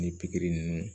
Ni pikiri ninnu